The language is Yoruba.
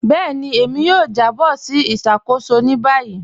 Bẹẹni, èmi yóò jàbọ̀ sí ìṣakóṣò ní báyì.